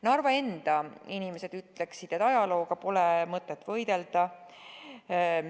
Narva enda inimesed ütleksid, et ajalooga pole mõtet võidelda.